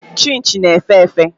Chịnchị na-efe efe.